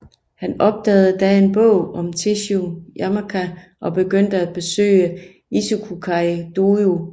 Han opdagede da en bog om Tesshu Yamaoka og begyndte at besøge Ichikukai dojo